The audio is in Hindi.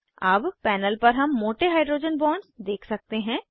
अब पैनल पर हम मोटे हाइड्रोजन बॉन्ड्स देख सकते हैं